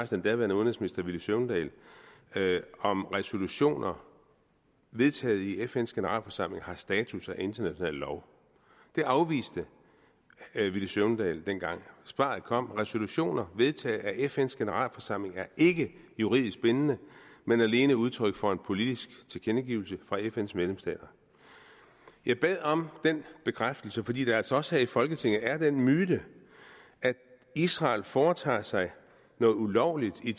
den daværende udenrigsminister herre villy søvndal om resolutioner vedtaget i fns generalforsamling har status af international lov det afviste herre villy søvndal dengang svaret kom resolutioner vedtaget af fns generalforsamling er ikke juridisk bindende men alene udtryk for en politisk tilkendegivelse fra fns medlemsstater jeg bad om den bekræftelse fordi der altså også her i folketinget er den myte at israel foretager sig noget ulovligt i